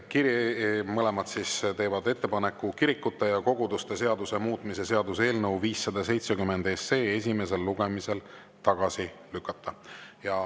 Mõlemad teevad ettepaneku kirikute ja koguduste seaduse muutmise seaduse eelnõu 570 esimesel lugemisel tagasi lükata.